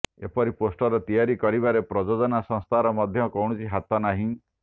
ଏପରି ପୋଷ୍ଟର ତିଆରି କରିବାରେ ପ୍ରଯୋଜନା ସଂସ୍ଥାର ମଧ୍ୟ କୌଣସି ହାତ ନାହିଁ